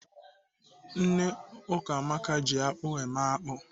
Nne Ukamaka ji akpụ eme akpụ.